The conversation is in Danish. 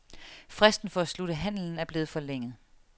Fristen for at slutte handlen er blevet forlænget.